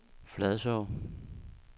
Fladså